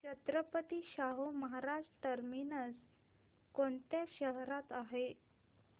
Chhatrapati Shahu Maharaj terminus कोणत्या शहरात आहे